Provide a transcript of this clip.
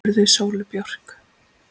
spurði Sóley Björk.